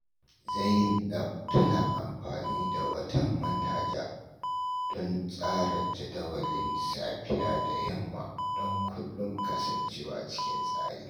Zainab tana amfani da wata manhaja don tsara jadawalin safiya da yamma don kullum kasancewa cikin tsari.